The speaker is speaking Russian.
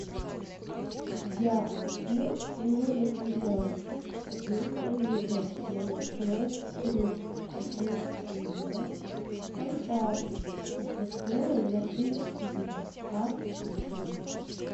я убил жену лесбиянку повесил ее на мясной крюк и теперь у меня контракт с дисплеем на три фильма аш ди